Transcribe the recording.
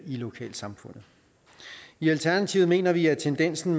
lokalsamfundet i alternativet mener vi at tendensen